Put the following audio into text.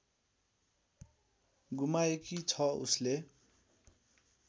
गुमाएकी छ उसले